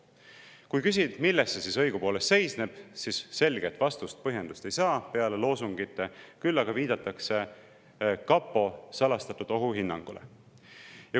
Kui küsida, milles see õigupoolest seisneb, siis selget vastust ega põhjendust peale loosungite ei saa, küll aga viidatakse kapo salastatud ohuhinnangule.